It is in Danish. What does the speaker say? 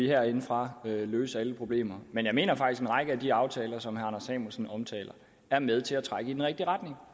herindefra kan løse alle problemer men jeg mener faktisk at en række af de aftaler som herre samuelsen omtaler er med til at trække i den rigtige retning